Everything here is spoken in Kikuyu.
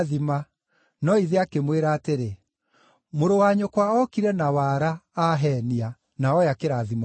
No ithe akĩmwĩra atĩrĩ, “Mũrũ wa nyũkwa okire na wara, aheenia, na oya kĩrathimo gĩaku.”